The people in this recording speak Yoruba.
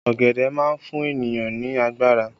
Ọ̀gẹ̀dẹ̀ má fún ènìyàn ní agbára